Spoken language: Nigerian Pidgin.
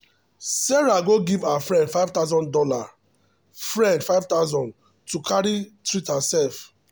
sarah go give her friend five thousand dollars friend five thousand dollars to carry treat herself.